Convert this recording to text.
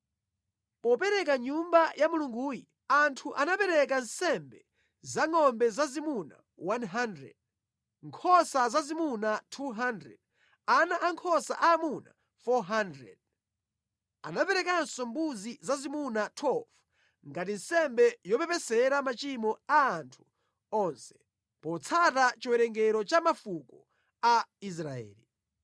Poporeka Nyumba ya Mulunguyi, anthu anapereka nsembe za ngʼombe zazimuna 100, nkhosa zazimuna 200, ana ankhosa aamuna 400. Anaperekanso mbuzi zazimuna 12 ngati nsembe yopepesera machimo a anthu onse, potsata chiwerengero cha mafuko a Israeli.